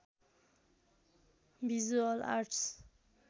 visual arts